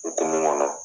Okumu kɔnɔ